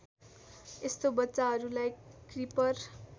यस्तो बच्चाहरूलाई क्रिपर